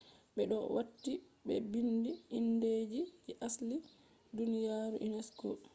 be do wati be biindi indeji je asli duniyaru unesco